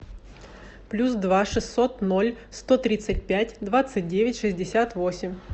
плюс два шестьсот ноль сто тридцать пять двадцать девять шестьдесят восемь